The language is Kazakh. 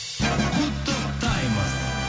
құттықтаймыз